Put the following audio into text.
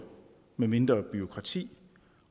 med mindre bureaukrati